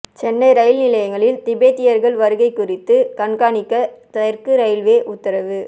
Chennai rail நிலையங்களில் திபெத்தியர்கள் வருகை குறித்து கண்காணிக்க தெற்கு ரயில்வே உத்தரவு